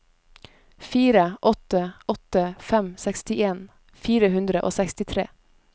fire åtte åtte fem sekstien fire hundre og sekstitre